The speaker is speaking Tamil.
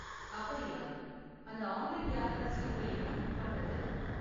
அப்படியா! அந்த ஆன்லைன் யாத்ரா ஸ்லிப்பை எப்படி புக் பண்றது?